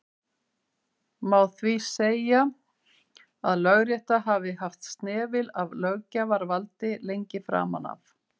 má því segja að lögrétta hafi haft snefil af löggjafarvaldi lengi framan af